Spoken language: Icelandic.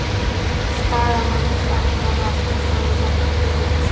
Skagamenn fagna marki Þórðar Guðjónssonar